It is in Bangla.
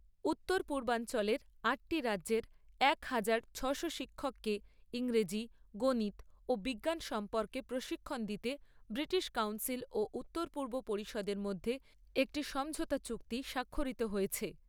উত্তর পূর্বাঞ্চলের আটটি রাজ্যের এক হাজার ছয়শো শিক্ষককে ইংরেজী, গণিত ও বিজ্ঞান সম্পর্কে প্রশিক্ষণ দিতে ব্রিটিশ কাউন্সিল ও উত্তর পূর্ব পরিষদের মধ্যে একটি সমঝোতা চুক্তি স্বাক্ষরিত হয়েছে।